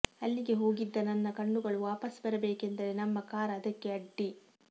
ಅಲ್ಲಿಗೆ ಹೋಗಿದ್ದ ನನ್ನ ಕಣ್ಣುಗಳು ವಾಪಸ್ ಬರಬೇಕೆಂದರೆ ನಮ್ಮ ಕಾರ್ ಅದಕ್ಕೆ ಅಡ್ಡಿ